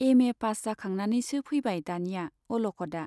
MA pass जाखांनानैसो फैबाय दानिया अल'खदआ।